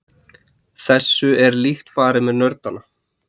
Þessu er líkt farið með nördana.